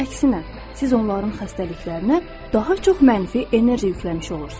Əksinə, siz onların xəstəliklərinə daha çox mənfi enerji yükləmiş olursunuz.